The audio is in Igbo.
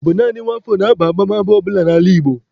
Ọ bụ naanị nwa afọ na-aba abamaba ọ bụla n'ala Igbo.